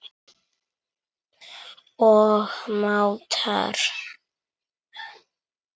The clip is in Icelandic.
og mátar.